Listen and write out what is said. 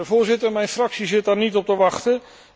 Voorzitter, mijn fractie zit daar niet op te wachten.